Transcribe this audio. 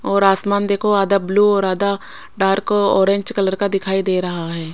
और आसमान देखो आधा ब्लू और आधा डार्क ओरेंज कलर का दिखाई दे रहा है।